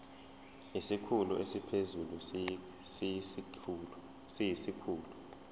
isikhulu esiphezulu siyisikhulu